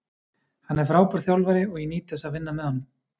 Hann er frábær þjálfari og ég nýt þess að vinna með honum.